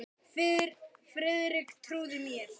Friðrik trúði mér.